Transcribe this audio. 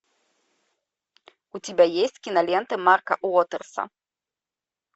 у тебя есть кинолента марка уотерса